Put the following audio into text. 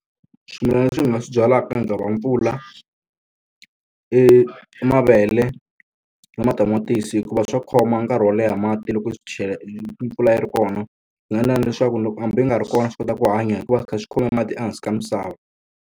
Swimilana leswi ni nga swi byalaka nkahi wa mpfula, i i mavele na matamatisi hikuva swa khoma nkarhi wo leha mati loko swi loko mpfula yi ri kona. Swi nga endleka na leswaku loko hambi yi nga ri kona swi kota ku hanya hi ku va swi kha swi khome mati ehansi ka misava.